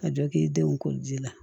Ka jɔ k'i denw ko ji la